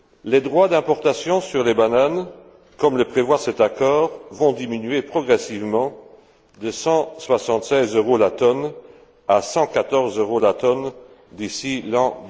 Les droits d'importation sur les bananes, comme le prévoit cet accord, vont diminuer progressivement de cent soixante seize euros la tonne à cent quatorze euros la tonne d'ici l'an